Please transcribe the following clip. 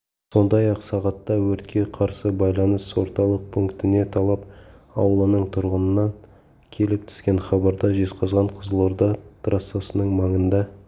сондай-ақ сағатта өртке қарсы байланыс орталық пунктіне талап аулының тұрғынынан келіп түскен хабарда жезқазған-қызылорда трассасының маңында